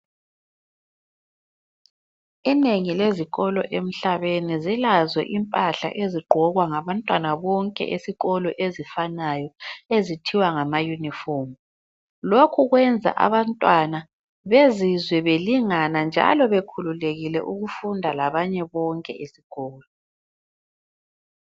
Inengi lezikolo emhlabeni zilazo impahla ezigqokwa ngabantwana bonke esikolo ezifanayo ezithiwa ngama yunifomu, lokhu kwenza abantwana bezizwe belingana njalo bekhululekile ukufunda labanye bonke esikolo.